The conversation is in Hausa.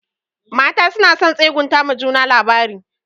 Mata suna son tsegunta ma juna labari.